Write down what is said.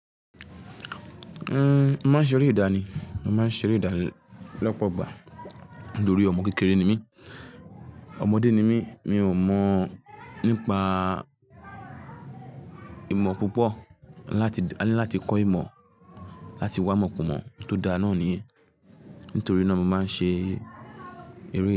Uhm, máa ń ṣeré ìdánì, máa ń ṣeré ìdánì lọ́pọ̀ gbà nítorí ọmọ kékeré ni mí, ọmọdé ni mí, mi ò mọ̀ nípa ìmọ̀ púpọ̀, ní láti, ní láti kọ́ ìmọ̀, láti wá mọ̀ pọ̀ mọ̀ tó dáa náà ni, nítorí náà mo máa ń ṣe eré ìdánì.